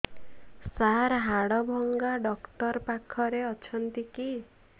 ସାର ହାଡଭଙ୍ଗା ଡକ୍ଟର ପାଖରେ ଅଛନ୍ତି କି